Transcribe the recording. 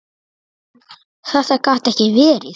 Þetta gat ekki verið!